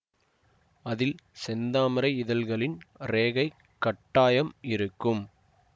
அதில் செந்தாமரை இதழ்களின் ரேகை கட்டாயம் இருக்கும்